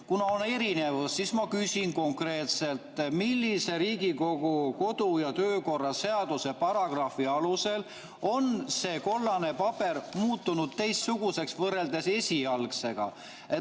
Kuna on erinevus, siis ma küsin konkreetselt, millise Riigikogu kodu‑ ja töökorra seaduse paragrahvi alusel on see kollane paber muutunud teistsuguseks võrreldes esialgsega.